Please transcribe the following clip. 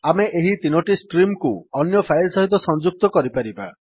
ଆମେ ଏହି 3ଟି ଷ୍ଟ୍ରିମ୍ କୁ ଅନ୍ୟ ଫାଇଲ୍ ସହିତ ସଂଯୁକ୍ତ କରିପାରିବା